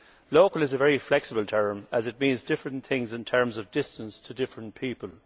Local' is a very flexible term as it means different things, in terms of distance, to different people.